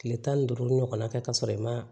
Kile tan ni duuru ɲɔgɔnna kɛ ka sɔrɔ i ma